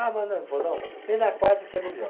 Ah, mas não, ele falou, não, vem na quarta que é melhor.